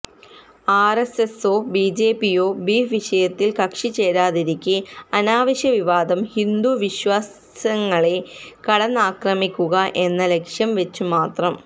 ആര്എസ്എസോ ബിജെപിയോ ബീഫ് വിഷയത്തില് കക്ഷിചേരാതിരിക്കെ അനാവശ്യ വിവാദം ഹിന്ദു വിശ്വാസങ്ങളെ കടന്നാക്രമിക്കുക എന്ന ലക്ഷ്യംവെച്ചുമാത്രം